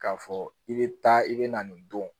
K'a fɔ i bɛ taa i bɛ na nin don